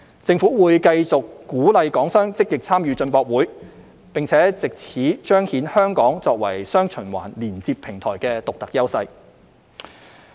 政府會繼續鼓勵港商積極參與進博會，並藉此彰顯香港作為"雙循環"連接平台的獨特優勢。